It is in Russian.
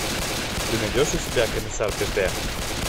ты найдешь у себя комиссар пепе